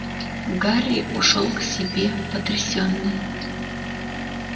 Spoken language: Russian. гарри ушёл к себе потрясённый